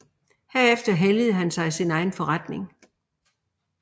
Herefter helligede han sig sin egen forretning